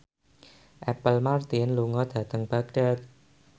Apple Martin lunga dhateng Baghdad